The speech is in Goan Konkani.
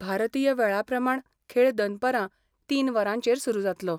भारतीय वेळा प्रमाण खेळ दनपारां तीन वरांचेर सुरू जातलो.